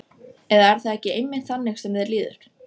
Eða er það ekki einmitt þannig sem þér líður?